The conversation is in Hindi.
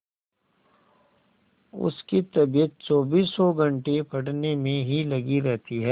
उसकी तबीयत चौबीसों घंटे पढ़ने में ही लगी रहती है